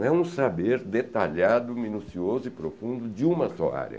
Não é um saber detalhado, minucioso e profundo de uma só área.